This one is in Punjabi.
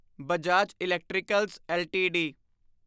Bajaj Electricals LTD